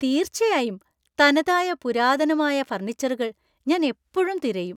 തീർച്ചയായും! തനതായ പുരാതനമായ ഫർണിച്ചറുകൾ ഞാൻ എപ്പോഴും തിരയും.